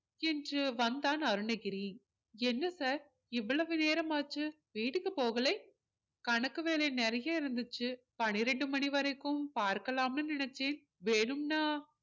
என்று வந்தான் அருணகிரி என்ன sir இவ்வளவு நேரமாச்சு வீட்டுக்கு போகலை கணக்கு வேலை நிறைய இருந்துச்சு பனிரெண்டு மணி வரைக்கும் பார்க்கலாம்னு நினைச்சேன் வேணும்னா